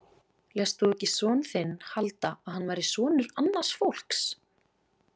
Lést þú ekki son þinn halda að hann væri sonur annars fólks?